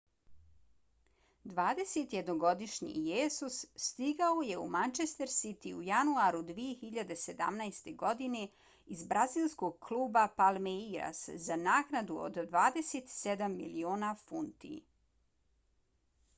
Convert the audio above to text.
21-godišnji jesus stigao je u manchester city u januaru 2017. godine iz brazilskog kluba palmeiras za naknadu od 27 miliona funti